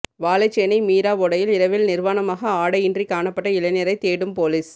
வாழைச்சேனை மீராவோடையில் இரவில் நிர்வாணமாக ஆடை இன்றி காணப்பட்ட இளைஞரை தேடும் பொலிஸ்